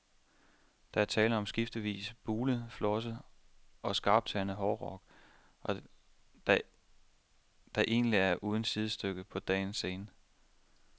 Der er tale om en skiftevis bulet, flosset og skarptandet hårdrock, der egentlig er uden sidestykke på dagens scene.